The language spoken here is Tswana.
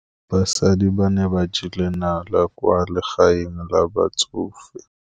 Basadi ba ne ba jela nala kwaa legaeng la batsofe.